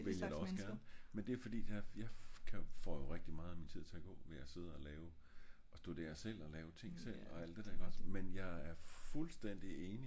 det ville jeg egentlig ogs gerne men jeg får rigtig meget at min tid til at gå ved at sidde og lave ved at studerer selv men jeg er fuldstændig enig